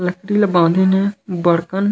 लकड़ी ला बाधीन हे बर्तन--